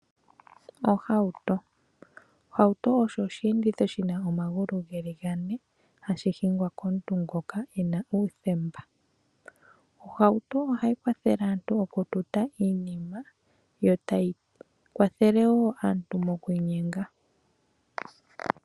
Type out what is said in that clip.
Ohauto. Ohauto osho osheenditho shina omagulu gane hashi hingwa komuntu ngoka ena uuthemba. Ohauto ohayi kwathele aantu okututa iinima yo tayi kwathele wo aantu mokwiinyenga.